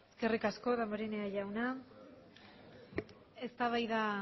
eskerrik asko damborenea jauna eztabaida